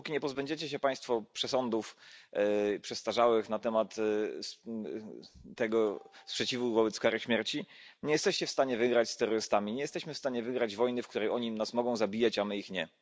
Dopóki nie pozbędziecie się Państwo przesądów przestarzałych na temat tego sprzeciwu wobec kary śmierci, nie jesteście w stanie wygrać z terrorystami, nie jesteśmy w stanie wygrać wojny, w której oni nas mogą zabijać, a my ich nie.